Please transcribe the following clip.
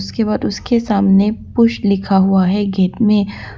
केवल उसके सामने पुश लिखा हुआ हैं गेट में।